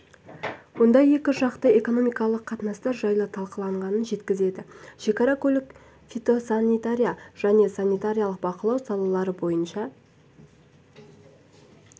онда екі жақты экономикалық қатынастар жайы талқыланғанын жеткізді шекара көлік фитосанитария және санитарлық бақылау салалары бойынша